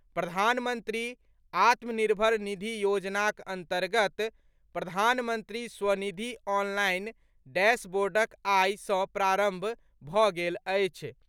प्रधानमंत्री आत्मनिर्भर निधि योजनाक अन्तर्गत प्रधानमंत्री स्वनिधि ऑनलाइन डैशबोर्डक आइ सँ प्रारम्भ भऽ गेल अछि।